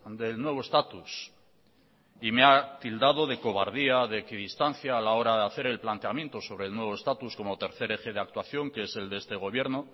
del nuevo estatus y me ha tildado de cobardía de equidistancia a la hora de hacer el planteamiento sobre el nuevo estatus como tercer eje de actuación que es el de este gobierno